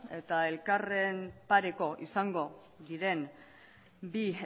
eta elkarren pareko izango diren bi